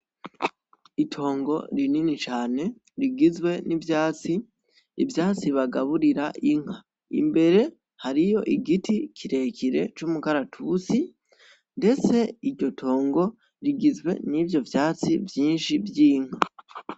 Itongo rinini cane rigizwe n'ivyatsi ,ivyatsi bagaburira inka imbere hariyo igiti kirekire c'umukaratusi ndetse iryo tongo rigizwe nivyo vyatsi vyishi vyinka .